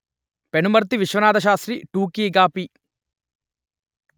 పెనుమర్తి విశ్వనాథశాస్త్రి టూకీగా పి